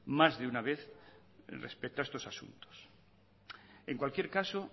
más de una vez respecto a estos asuntos en cualquier caso